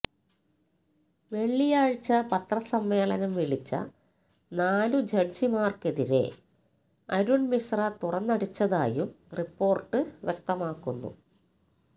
വെള്ളിയാഴ്ച പത്രസമ്മേളനം വിളിച്ച നാലു ജഡ്ജിമാർക്കെതിരെ അരുൺ മിശ്ര തുറന്നടിച്ചതായും റിപ്പോർട്ട് വ്യക്തമാക്കുന്നു